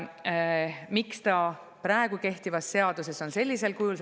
Miks see on praegu kehtivas seaduses sellisel kujul?